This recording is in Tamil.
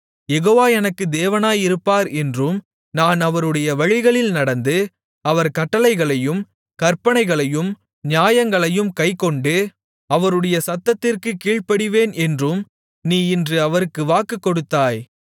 யெகோவா எனக்கு தேவனாயிருப்பார் என்றும் நான் அவருடைய வழிகளில் நடந்து அவர் கட்டளைகளையும் கற்பனைகளையும் நியாயங்களையும் கைக்கொண்டு அவருடைய சத்தத்திற்குக் கீழ்ப்படிவேன் என்றும் நீ இன்று அவருக்கு வாக்குக்கொடுத்தாய்